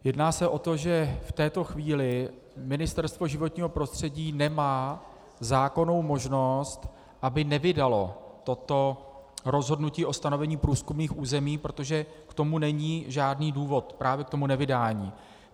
Jedná se o to, že v této chvíli Ministerstvo životního prostředí nemá zákonnou možnost, aby nevydalo toto rozhodnutí o stanovení průzkumných území, protože k tomu není žádný důvod, právě k tomu nevydání.